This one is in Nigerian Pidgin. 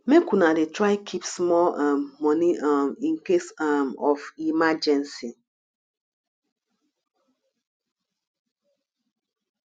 make una dey try keep small um moni um in case um of emergency